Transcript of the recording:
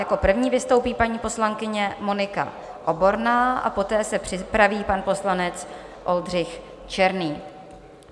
Jako první vystoupí paní poslankyně Monika Oborná a poté se připraví pan poslanec Oldřich Černý.